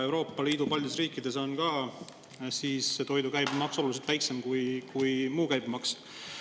Euroopa Liidu paljudes riikides on ka toidu käibemaks mitte just 0, aga oluliselt väiksem kui muu käibemaks.